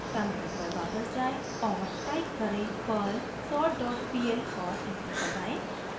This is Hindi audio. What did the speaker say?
टर्मिनल पर वापस जाएँ और टाइप करें: perl sortpl और एंटर दबाएं